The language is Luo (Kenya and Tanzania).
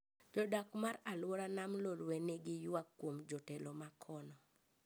Jodak mar aluora nam lolwe ni gi ywak kuom jotelo makono